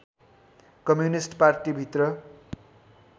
communist पार्टीभित्र